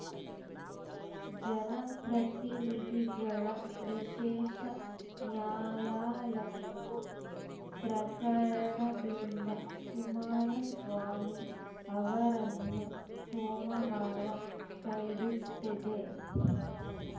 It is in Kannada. ಜನ ಪ್ರತಿನಿಧಿಗಳ ವಿಶೇಷ ನ್ಯಾಯಾಲಯವು ಪ್ರಕರಣದಿಂದ ಕುಮಾರಸ್ವಾಮಿ ಅವರನ್ನು ಸೋಮವಾರ ಕೈಬಿಟ್ಟಿದೆ